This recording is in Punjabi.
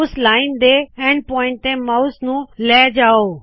ਉਸ ਲਾਇਨ ਦੇ ਈਐਂਡ ਪੁਆਇੰਟ ਤੇ ਮਾਉਸ ਨੂ ਲੈ ਜਾਓ